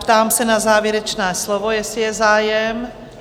Ptám se na závěrečné slovo, jestli je zájem?